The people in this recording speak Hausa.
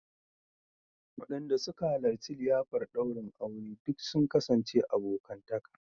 Wadanda suka halarci liyafar daurin aure duk sun kasance abokantaka